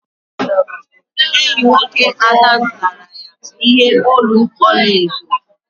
Enyi nwoke Ada zụtara ya ihe olu ọla edo.